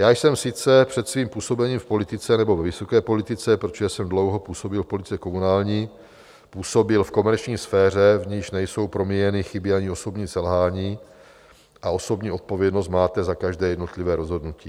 Já jsem sice před svým působením v politice, nebo ve vysoké politice, protože jsem dlouho působil v politice komunální, působil v komerční sféře, v níž nejsou promíjeny chyby ani osobní selhání a osobní odpovědnost máte za každé jednotlivé rozhodnutí.